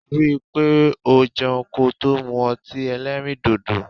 Rí i pé o jẹun kò tó mu ọtí èlérìndodo.